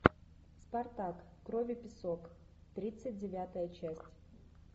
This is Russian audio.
спартак кровь и песок тридцать девятая часть